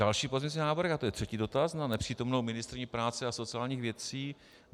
Další pozměňovací návrh, a to je třetí dotaz na nepřítomnou ministryni práce a sociálních věcí.